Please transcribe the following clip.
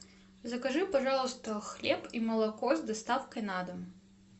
закажи пожалуйста хлеб и молоко с доставкой на дом